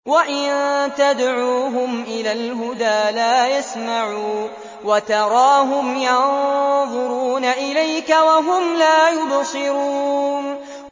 وَإِن تَدْعُوهُمْ إِلَى الْهُدَىٰ لَا يَسْمَعُوا ۖ وَتَرَاهُمْ يَنظُرُونَ إِلَيْكَ وَهُمْ لَا يُبْصِرُونَ